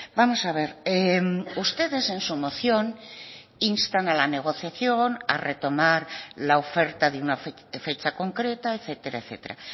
vamos a ver ustedes en su moción instan a la negociación a retomar la oferta de una fecha concreta etcétera etcétera